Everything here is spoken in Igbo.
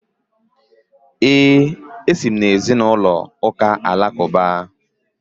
Ee, esi m na ezinụlọ Muslim